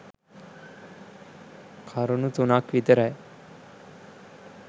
කරුණු තුනක් විතරයි.